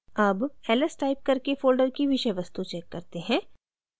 अब ls type करके folder की विषय वस्तु check करते हैं